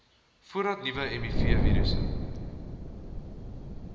voordat nuwe mivirusse